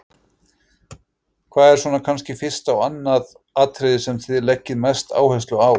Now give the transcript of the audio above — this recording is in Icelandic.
Hvað er svona kannski fyrsta og annað atriðið sem að þið leggið mesta áherslu á?